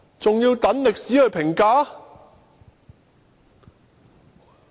還要待歷史評價？